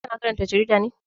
Ka na karanta jarida ne?